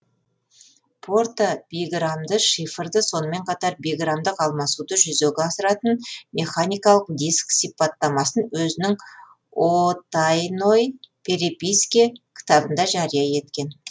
порта биграммды шифрды сонымен қатар биграммдық алмасуды жүзеге асыратын механикалық диск сипаттамасын өзінің о тайной переписке кітабында жария еткен